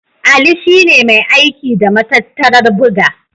Ali shi ne mai aiki da matattarar buga.